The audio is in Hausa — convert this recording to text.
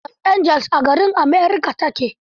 Ya ce Los Angeles a America ta ke.